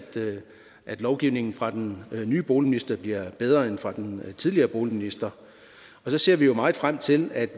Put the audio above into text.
at lovgivningen fra den nye boligminister bliver bedre end den fra den tidligere boligminister så ser vi jo meget frem til at